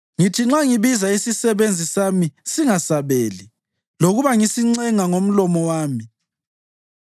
Ngithi nxa ngibiza isisebenzi sami singasabeli, lokuba ngisincenga ngomlomo wami.